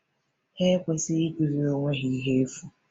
Ha ekwesịghị ịkụziri onwe ha ihe efu.